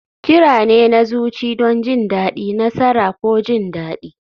Kira ne na zuci don jin daɗi, nasara, ko jin daɗi.